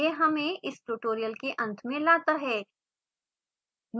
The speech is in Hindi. यह हमें इस tutorial के अंत में लाता है